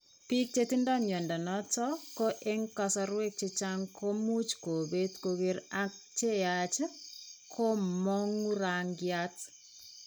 Biik che tindo mnyando noton ko eng' kasarwek chechang' ko much kobet koker ak cheyachen komagui raang'yaat.